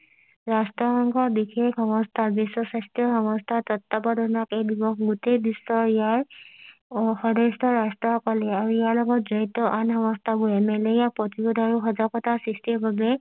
ৰাষ্ট্ৰ সংঘৰ বিশেষ সংস্থাৰ বিশ্ব স্বাস্থ্য সংস্থাৰ তত্ত্বাৱধানত এই দিৱস গোটেই বিশ্ব ইয়াৰ উহ সদস্যৰ ৰাষ্ট্ৰ সকল আৰু ইয়াৰ লগত জড়িত আন সংস্থা বোৰে মেলেৰিয়া প্ৰতিৰোধ আৰু সজাগতা সৃষ্টি বাবে